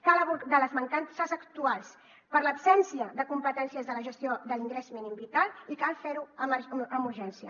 cal abordar les mancances actuals per l’absència de competències de la gestió de l’ingrés mínim vital i cal fer ho amb urgència